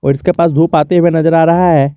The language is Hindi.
और इसके पास धूप आते हुए नज़र आ रहा है।